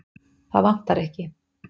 Það vantar ekki.